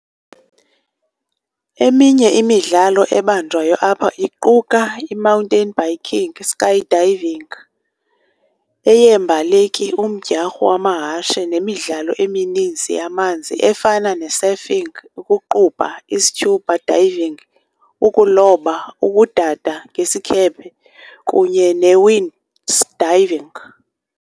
Eminye imidlalo ebanjwayo apha iquka imountain biking, iskydiving, aeyeembaleki, umdyarho wamahashe nemmidlalo emininzi yamanzi efana nesurfing, ukuqubha, iscuba diving, ukuloba, ukudada ngesikhephe, kunye newind diving.